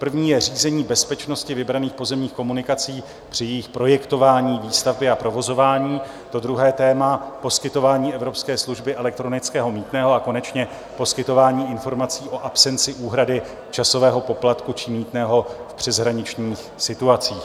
První je řízení bezpečnosti vybraných pozemních komunikací při jejich projektování, výstavbě a provozování, to druhé téma - poskytování evropské služby elektronického mýtného a konečně poskytování informací o absenci úhrady časového poplatku či mýtného v přeshraničních situacích.